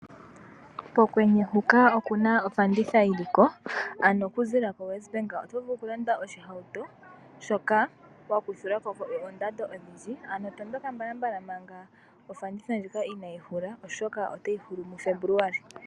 Pokwenye huka okuna ofanditha yoliko ano oku ziilila ko NET Bank. Oto vulu oku landa oshihauto shoka wa kuthilwako kondando. Ano tondoka mbalambala manga ofanditha ndjika inaayi hula oshoka otayi hulul mu February.